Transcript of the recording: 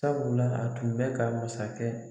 Sabula a tun bɛ ka masakɛ